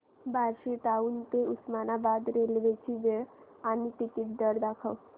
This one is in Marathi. बार्शी टाऊन ते उस्मानाबाद रेल्वे ची वेळ आणि तिकीट दर दाखव